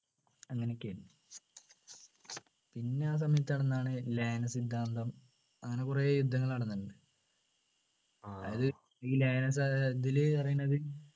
അങ്ങനെയൊക്കെയാണ് പിന്നെ ആ സമയത്ത് നടന്നതാണ് ലയന സിദ്ധാന്തം അങ്ങനെ കുറെ യുദ്ധങ്ങൾ നടന്നിട്ടുണ്ട് അതായത് ഈ ലയന ഏർ ഇതിൽ പറയുന്നത്